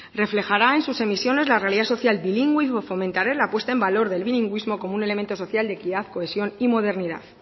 reflejará en sus emisiones la realidad social bilingüe y fomentará la puesta en valor del bilingüismo como un elemento social de equidad cohesión y modernidad